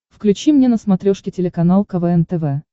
включи мне на смотрешке телеканал квн тв